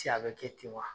a bɛ kɛ ten wa